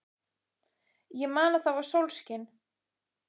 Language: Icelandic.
Ég man að það var sólskin.